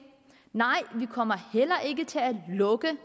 nej vi kommer heller ikke til at lukke